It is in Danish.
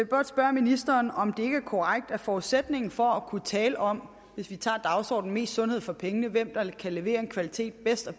godt spørge ministeren om det ikke er korrekt at forudsætningen for at kunne tale om dagsordenen om mest sundhed for pengene hvem der kan levere kvalitet bedst og